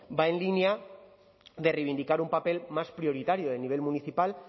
va en línea de reivindicar un papel más prioritario a nivel municipal